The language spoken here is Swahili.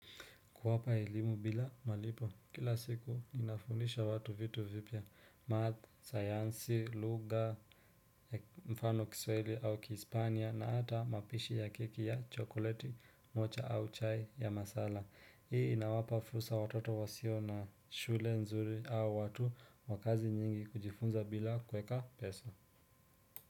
Kuwapa elimu bila malipo, kila siku ninafundisha watu vitu vipya, math, sayansi, lugha, mfano kiswahili au kispania na ata mapishi ya keki ya chokoleti, mocha au chai ya masala. Hii inawapa fursa watoto wasio na shule nzuri au watu wa kazi nyingi kujifunza bila kweka pesa.